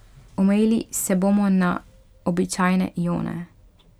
Omejili se bomo na običajne ione.